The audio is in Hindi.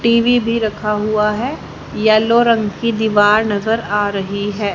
टी_वी भी रखा हुआ है येलो रंग की दीवार नजर आ रही है।